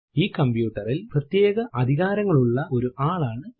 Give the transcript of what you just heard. ഈ കമ്പ്യൂട്ടറിൽ പ്രത്യേക അധികാരങ്ങൾ ഉള്ള ഒരു ആൾ ആണ് ഇത്